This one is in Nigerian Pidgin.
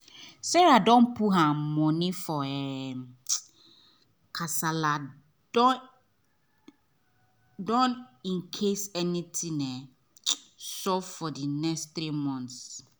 sarah don put her money for um kasala don don incase anything um sup for the next three month